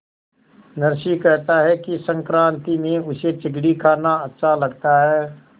नरसी कहता है कि संक्रांति में उसे चिगडी खाना अच्छा लगता है